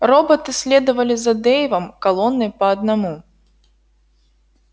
роботы следовали за дейвом колонной по одному